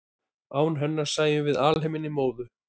án hennar sæjum við alheiminn í móðu